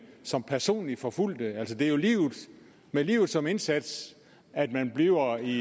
som personligt forfulgte altså det er jo med livet som indsats at man bliver i